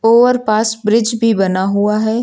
और पास ब्रिज भी बना हुआ है।